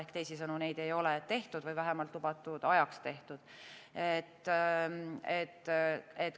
Ehk teisisõnu, neid ei ole tehtud või vähemalt lubatud ajaks tehtud.